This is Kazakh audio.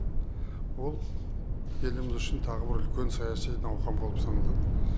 ол еліміз үшін тағы бір үлкен саяси науқан болып саналады